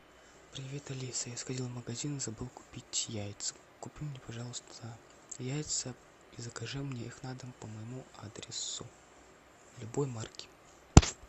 привет алиса я сходил в магазин и забыл купить яйца купи мне пожалуйста яйца и закажи мне их на дом по моему адресу любой марки